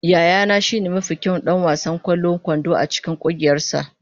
Yayana shine mafi kyawun ɗan wasan ƙwallon kwando a cikin ƙungiyarsa.